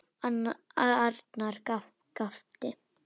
Arnar gapti.